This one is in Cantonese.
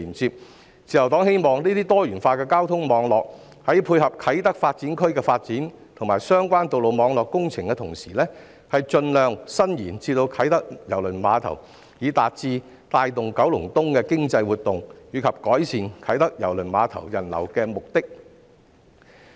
自由黨希望這些多元化的交通網絡在配合啟德發展區的發展，以及相關道路網絡工程的同時，盡量伸延至啟德郵輪碼頭，以達致帶動九龍東的經濟活動及改善啟德郵輪碼頭人流的目的。